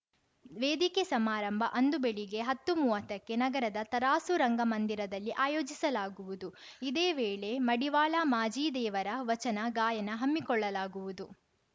ವೇದಿಕೆ ಸಮಾರಂಭ ಅಂದು ಬೆಳಿಗ್ಗೆ ಹನ್ನೊಂದುಮುವತ್ತಕ್ಕೆ ನಗರದ ತರಾಸು ರಂಗಮಂದಿರದಲ್ಲಿ ಆಯೋಜಿಸಲಾಗುವುದು ಇದೇ ವೇಳೆ ಮಡಿವಾಳ ಮಾಜಿದೇವರ ವಚನ ಗಾಯನ ಹಮ್ಮಿಕೊಳ್ಳಲಾಗುವುದು